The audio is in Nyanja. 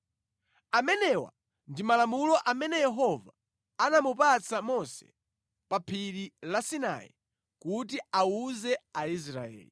Amenewa ndi malamulo amene Yehova anamupatsa Mose pa Phiri la Sinai kuti awuze Aisraeli.